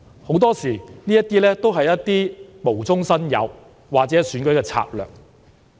很多時，這些指控都是無中生有，或是選舉的策略。